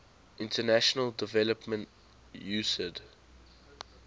international development usaid